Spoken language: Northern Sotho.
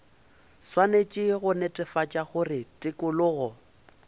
swanetše go netefatša gore tikologo